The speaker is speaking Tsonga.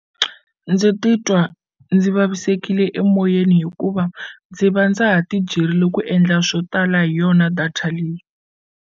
Ndzi titwa ndzi vavisekile emoyeni hikuva ndzi va ndza ha ti byerile ku endla swo tala hi yona data leyi.